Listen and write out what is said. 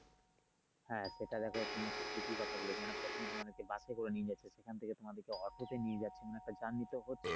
হ্যা সেটা দেখো তুমি একটা ঠিকই কথা বলেছো মানে প্রথম তোমাদেরকে বাসে করে নিয়ে যাচ্ছে সেখান থেকে তোমাদেরকে অটোতে নিয়ে যাচ্ছে মানে একটা journey তো হচ্ছে।